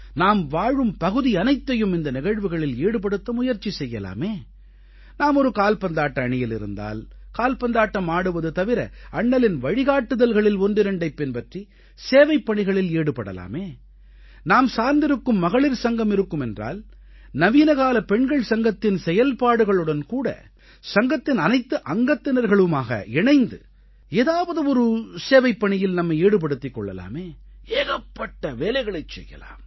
நாம் வாழும் பகுதியனைத்தையும் இந்த நிகழ்வுகளில் ஈடுபடுத்த முயற்சி செய்யலாமே நாம் ஒரு கால்பந்தாட்ட அணியில் இருந்தால் கால்பந்தாட்டம் ஆடுவது தவிர அண்ணலின் வழிகாட்டுதல்களில் ஒன்றிரண்டைப் பின்பற்றி சேவைப்பணிகளில் ஈடுபடலாமே நாம் சார்ந்திருக்கும் மகளிர் சங்கம் இருக்குமென்றால் நவீனகால பெண்கள் சங்கத்தின் செயல்பாடுகளுடன்கூட சங்கத்தின் அனைத்து அங்கத்தினர்களுமாக இணைந்து ஏதாவது ஒரு சேவைப்பணியில் நம்மை ஈடுபடுத்திக் கொள்ளலாமே ஏகப்பட்ட வேலைகளைச் செய்யலாம்